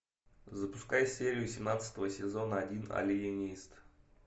запускай серию семнадцатого сезона один алиенист